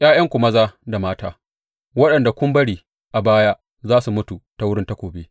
’Ya’yanku maza da mata waɗanda kun bari a baya za su mutu ta wurin takobi.